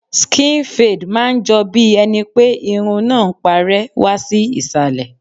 Skin fade máa ń jọ bí ẹni pé irun náà ń parẹ́ wá sí Ìsàlẹ̀.